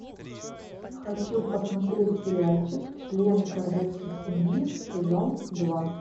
хочу посмотреть сериальчик члены королевской семьи сезон два